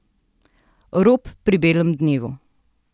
Rop pri belem dnevu.